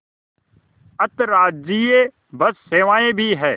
अंतर्राज्यीय बस सेवाएँ भी हैं